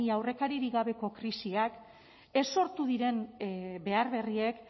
ia aurrekaririk gabeko krisiak ez sortu diren behar berriek